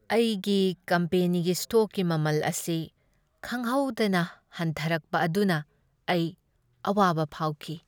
ꯑꯩꯒꯤ ꯀꯝꯄꯦꯅꯤꯒꯤ ꯁ꯭ꯇꯣꯛꯀꯤ ꯃꯃꯜ ꯑꯁꯤ ꯈꯪꯍꯧꯗꯅ ꯍꯟꯊꯔꯛꯄ ꯑꯗꯨꯅ ꯑꯩ ꯑꯋꯥꯕ ꯐꯥꯎꯈꯤ ꯫